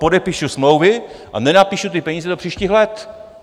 Podepíšu smlouvy a nenapíšu ty peníze do příštích let.